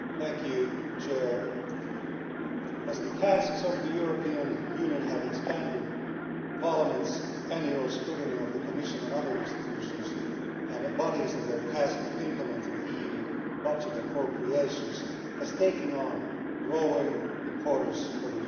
Madam President, as the tasks of the European Union have expanded, Parliament's annual scrutiny of the Commission and other institutions and bodies in their task of implementing EU budget appropriations has taken on growing importance for the Union's taxpayers.